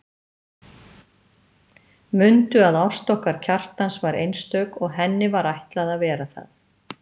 Mundu að ást okkar Kjartans var einstök og henni var ætlað að vera það.